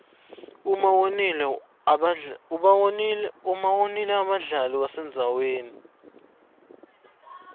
uma wonile abadlali wenziwani